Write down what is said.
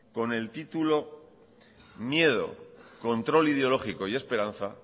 con el título miedo control ideológico y esperanza